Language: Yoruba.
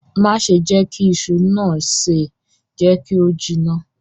Má ṣe jẹ kí iṣu naa se, jẹ kí o jiná.